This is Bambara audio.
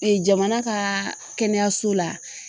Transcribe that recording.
jamana kaa kɛnɛyaso la